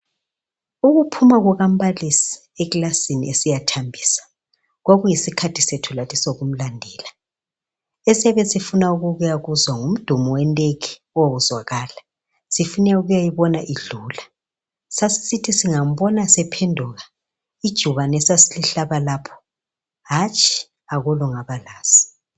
Ukuphuma kukambalisi ekilasini esiya thambisa kwakuyisikhathi sethu lathi sokumlandela esiyabe sifuna ukuya kuzwa ngumdumo wendege owawuzwakala sifuna ukuyayibona idlula sasisithi singambona sephenduka ijubane esasilihlaba lapho hatshi akula ongabalazi.